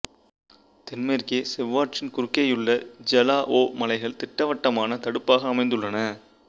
தென்மேற்கே செவ்வாற்றின் குறுக்கேயுள்ள ஐலாவோ மலைகள் திட்டவட்டமான தடுப்பாக அமைந்துள்ளன